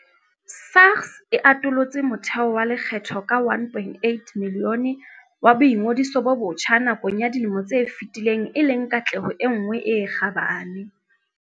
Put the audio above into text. SARS e atolotse motheo wa lekgetho ka 1.8 milione wa boingodiso bo botjha nakong ya dilemo tse fetileng e leng katleho e nngwe e kgabane.